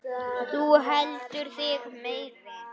Þú heldur þig meiri.